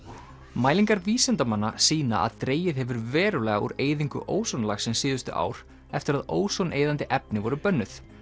mælingar vísindamanna sýna að dregið hefur verulega úr eyðingu ósonlagsins síðustu ár eftir að ósoneyðandi efni voru bönnuð